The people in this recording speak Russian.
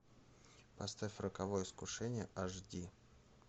поставь роковое искушение аш ди